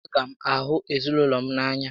A gá m ahụ ezinaụlọ m n'anya